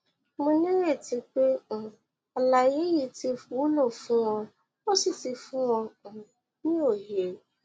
mo nírètí pé um àlàyé yìí ti wúlò fún ọ ó sì ti fún ọ um ní òye